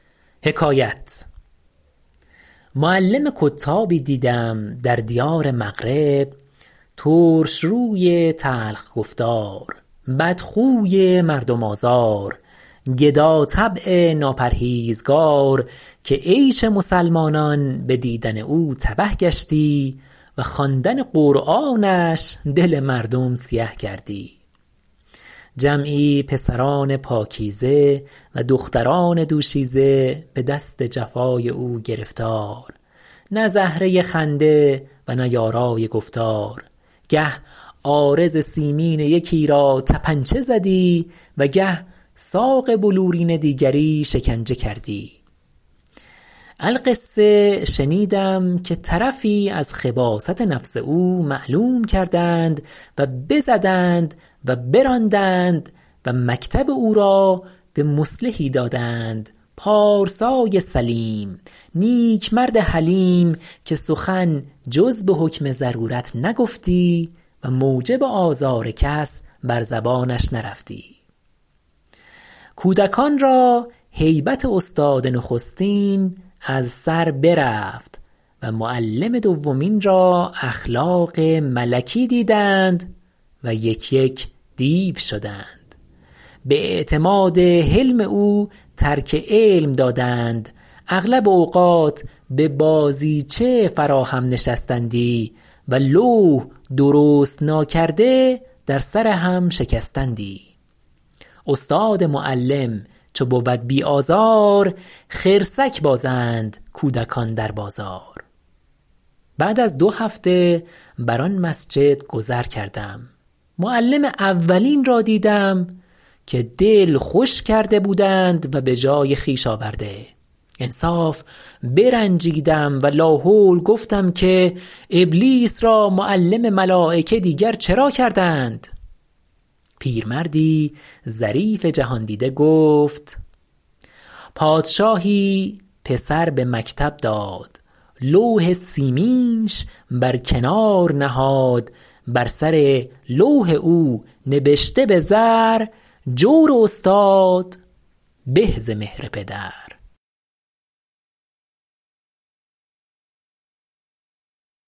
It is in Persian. معلم کتابی دیدم در دیار مغرب ترشروی تلخ گفتار بدخوی مردم آزار گداطبع ناپرهیزگار که عیش مسلمانان به دیدن او تبه گشتی و خواندن قرآنش دل مردم سیه کردی جمعی پسران پاکیزه و دختران دوشیزه به دست جفای او گرفتار نه زهره خنده و نه یارای گفتار گه عارض سیمین یکی را طپنچه زدی و گه ساق بلورین دیگری شکنجه کردی القصه شنیدم که طرفی از خباثت نفس او معلوم کردند و بزدند و براندند و مکتب او را به مصلحی دادند پارسای سلیم نیک مرد حلیم که سخن جز به حکم ضرورت نگفتی و موجب آزار کس بر زبانش نرفتی کودکان را هیبت استاد نخستین از سر برفت و معلم دومین را اخلاق ملکی دیدند و یک یک دیو شدند به اعتماد حلم او ترک علم دادند اغلب اوقات به بازیچه فرا هم نشستندی و لوح درست ناکرده در سر هم شکستندی استاد معلم چو بود بی آزار خرسک بازند کودکان در بازار بعد از دو هفته بر آن مسجد گذر کردم معلم اولین را دیدم که دل خوش کرده بودند و به جای خویش آورده انصاف برنجیدم و لاحول گفتم که ابلیس را معلم ملایکه دیگر چرا کردند پیرمردی ظریف جهاندیده گفت پادشاهی پسر به مکتب داد لوح سیمینش بر کنار نهاد بر سر لوح او نبشته به زر جور استاد به ز مهر پدر